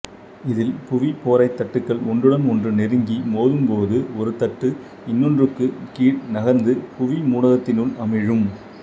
இதில் புவிப்பொறைத் தட்டுக்கள் ஒன்றுடன் ஒன்று நெருங்கி மோதும்போது ஒரு தட்டு இன்னொன்றுக்குக் கீழ் நகர்ந்து புவி மூடகத்தினுள் அமிழும்